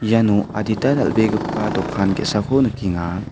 iano adita dal·begipa dokan ge·sako nikenga.